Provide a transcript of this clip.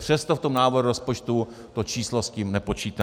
Přesto v tom návrhu rozpočtu to číslo s tím nepočítá.